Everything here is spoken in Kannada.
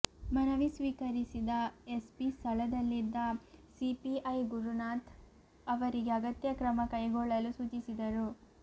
ಮನವಿ ಸ್ವೀಕರಿಸಿದ ಎಸ್ಪಿ ಸ್ಥಳದಲ್ಲಿದ್ದ ಸಿಪಿಐ ಗುರುನಾಥ್ ಅವರಿಗೆ ಅಗತ್ಯ ಕ್ರಮ ಕೈಗೊಳ್ಳಲು ಸೂಚಿಸಿದರು